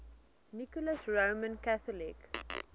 nicholas roman catholic